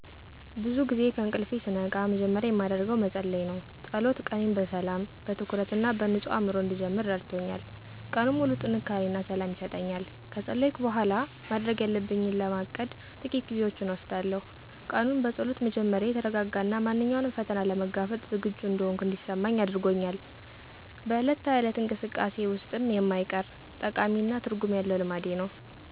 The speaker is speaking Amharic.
ብዙ ጊዜ ከእንቅልፌ ስነቃ መጀመሪያ የማደርገው መጸለይ ነው። ጸሎት ቀኔን በሰላም፣ በትኩረት እና በንጹህ አእምሮ እንድጀምር ረድቶኛል። ቀኑን ሙሉ ጥንካሬ እና ሰላም ይሰጠኛል። ከጸለይኩ በኋላ፣ ማድረግ ያለብኝን ለማቀድ ጥቂት ጊዜዎችን እወስዳለሁ። ቀኑን በጸሎት መጀመሬ የተረጋጋ እና ማንኛውንም ፈተና ለመጋፈጥ ዝግጁ እንደሆንኩ እንዲሰማኝ አድርጎኛል። በዕለት ተዕለት እንቅስቃሴዬ ውስጥም የማይቀር፣ ጠቃሚ እና ትርጉም ያለው ልማዴ ነው።